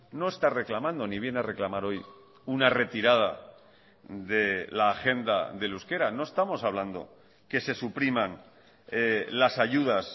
no está reclamando ni viene a reclamar hoy una retirada de la agenda del euskera no estamos hablando que se supriman las ayudas